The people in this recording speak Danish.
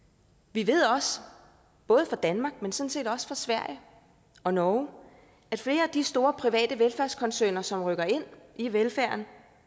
vi ved også både fra danmark men sådan set også fra sverige og norge at flere af de store private velfærdskoncerner som rykker ind i velfærden